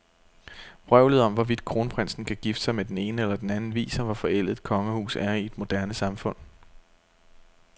Vrøvlet om, hvorvidt kronprinsen kan gifte sig med den ene eller den anden, viser, hvor forældet et kongehus er i et moderne samfund.